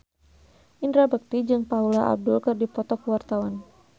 Indra Bekti jeung Paula Abdul keur dipoto ku wartawan